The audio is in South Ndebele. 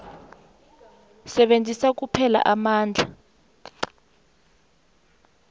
sebenzisa kuphela amandla